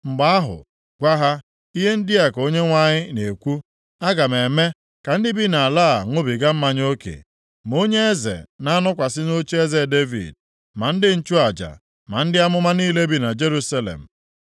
Mgbe ahụ gwa ha, ‘Ihe ndị a ka Onyenwe anyị na-ekwu, Aga m eme ka ndị bi nʼala a ṅụbiga mmanya oke, ma onye eze na-anọkwasị nʼocheeze Devid, ma ndị nchụaja, na ndị amụma niile bi na Jerusalem.